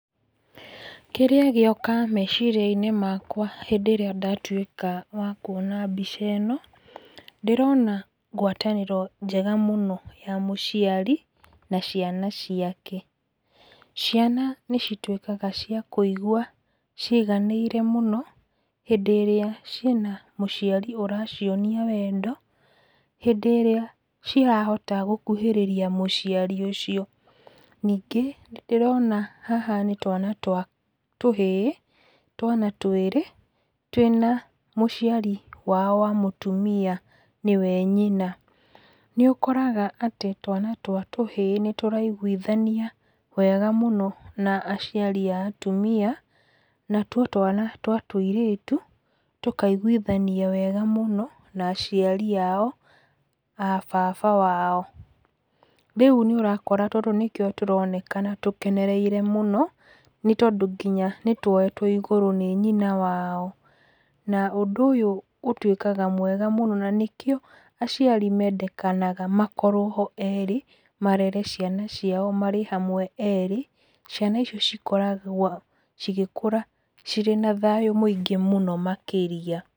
Kĩrĩa gĩoka meciria-inĩ makwa hĩndĩ ĩrĩa ndatuĩka wa kuona mbica ĩno, ndĩrona ngwatanĩro njega mũno ya mũciari na ciana ciake. Ciana nĩ cituĩkaga cia kũigua ciganĩire mũno hĩndĩ ĩrĩa ciĩna mũciari ũracionia wendo, hĩndĩ ĩrĩa irahota gũkuhĩrĩria mũciari ũcio. Ningĩ nĩ ndĩrona haha nĩ twana twa tũhĩĩ, twana twĩrĩ, twĩ na mũciari wao wa mũtumia, nĩwe nyina. Nĩ ũkoraga atĩ twana twa tũhĩĩ atĩ nĩ tũraiguithania wega mũno na aciari a atumia, na tuo twana twa tũirĩtu tũkaiguithania wega mũno na aciari ao, aa baba wao. Rĩu nĩ ũrakora tũtũ nĩkĩo tũronekana tũkenereire mũno, nĩ tondũ kinya nĩtuoetwo igũrũ nĩ nyina wao na ũndũ ũyũ ũtuĩka mwega mũno na nĩkĩo aciari mendekanaga makorwo ho erĩ marere ciana ciao marĩ hamwe erĩ, ciana icio cikoragwo cigĩkũra cirĩ na thayũ mũingĩ mũno makĩria.